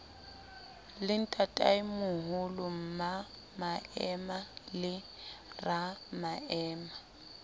le ntatemoholo mmamaema le ramaema